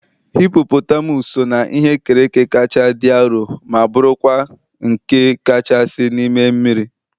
hippopotamus so na ihe e kere eke kacha dị arọ ma bụrụkwa nke kachasị n'ime mmiri.